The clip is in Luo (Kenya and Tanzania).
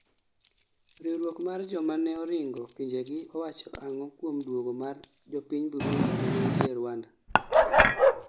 riwruok mar jomano ringo pinjegi owacho ang'o kuom duogo mar jopiny Burundi manentie Rwanda